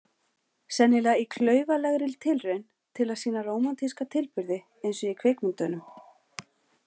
Sennilega í klaufalegri tilraun til að sýna rómantíska tilburði eins og í kvikmyndunum.